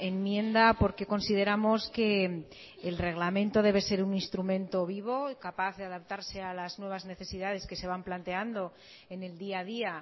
enmienda porque consideramos que el reglamento debe ser un instrumento vivo capaz de adaptarse a las nuevas necesidades que se van planteando en el día a día